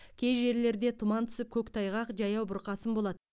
кей жерлерінде тұман түсіп көктайғақ жаяу бұрқасын болады